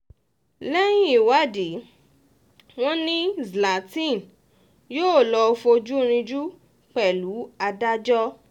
lẹ́yìn ìwádìí um wọn ni zlathin yóò lọ́ọ́ fojú rìnjù pẹ̀lú um adájọ́